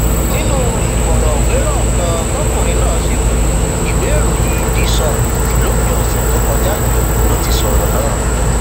nínú ìfọrọwérọ kan tọkùnrin náà ṣe pẹlú ìwéèròyìn the sun lópin ọsẹ tó kọjá yìí ló ti sọrọ náà